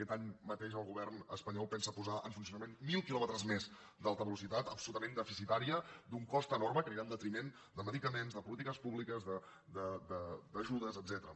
aquest any mateix el govern espanyol pensa posar en funcionament mil quilòmetres més d’alta velocitat absolutament deficitària d’un cost enorme que anirà en detriment de medicaments de polítiques públiques d’ajudes etcètera